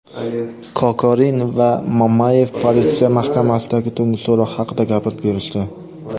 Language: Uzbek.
Kokorin va Mamayev politsiya mahkamasidagi tungi so‘roq haqida gapirib berishdi.